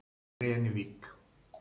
Grenivík